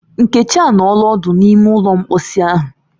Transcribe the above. Nkechi anọọla odu n’ime ụlọ mposi ahu